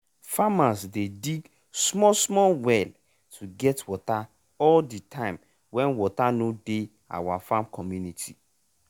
farmers dey dig small small well to get water all the time wen water no dey our farm community.